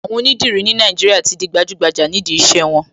Àwọn onídìrí ní Nàìjíríà tí di gbajúgbajà nídìí iṣẹ́ wọn.